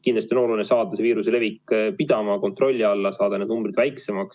Kindlasti on oluline saada viiruse levik pidama, kontrolli alla, saada need numbrid väiksemaks.